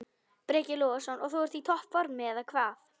Breki Logason: Og þú ert í topp formi, eða hvað?